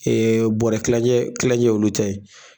Ee bɔrɛ kilancɛ kilancɛ ye olu ta ye